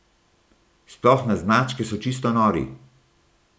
Sploh na značke so čisto nori.